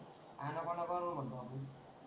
आ नको नको करू मनतो मी,